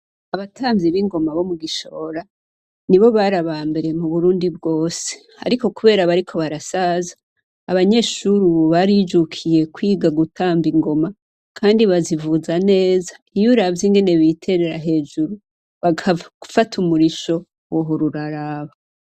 Abatamvyi b'ingoma bo mu Gishora, nibo bari abambere mu Burundi bwose Ariko kubera bariko barasaza, abanyeshuri ubu barijukiye kwiga gutamba ingoma, kandi bazivuza neza, iyo uravye ingene biterera hejuru, bagafata umurisho, wohora uraraba.